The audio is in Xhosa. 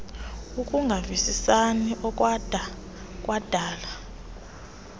ukungavisisani okwada kwadala